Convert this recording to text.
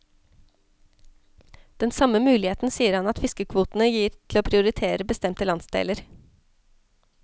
Den samme muligheten sier han at fiskekvotene gir til å prioritere bestemte landsdeler.